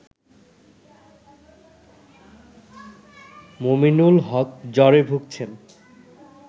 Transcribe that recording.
মুমিনুল হক জ্বরে ভুগছেন